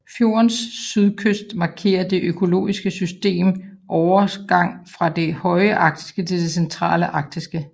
Fjordens sydkyst markerer det økologiske systems overgang fra det høje arktiske til det centrale arktiske